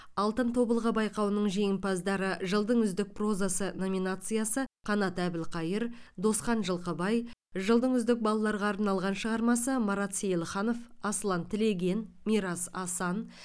алтын тобылғы байқауының жеңімпаздары жылдың үздік прозасы номинациясы қанат әбілқайыр досхан жылқыбай жылдың үздік балаларға арналған шығармасы марат сейілханов асылан тілеген мирас асан